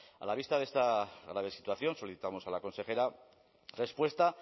a la vista de esta grave situación solicitamos a la consejera respuesta